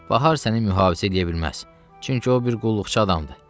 Bahar səni mühafizə eləyə bilməz, çünki o bir qulluqçu adamdır.